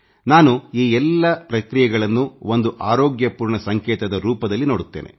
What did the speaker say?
ನಾನು ಈ ಎಲ್ಲ ಪ್ರಕ್ರಿಯೆಗಳನ್ನು ಒಂದು ಆರೋಗ್ಯಪೂರ್ಣ ಸಂಕೇತದ ರೂಪದಲ್ಲಿ ನೋಡುತ್ತೇನೆ